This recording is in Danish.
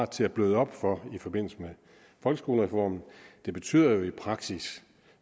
til at bløde op i forbindelse med folkeskolereformen betyder i praksis